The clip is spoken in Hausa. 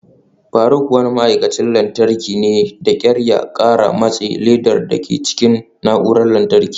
Faruk wani ma'aikacin lantarki ne, da kyar ya kara matse ledar dake jikin na'urar lantarki.